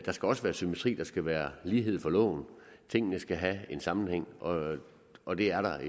skal også være symmetri der skal være lighed for loven tingene skal have en sammenhæng og og det er der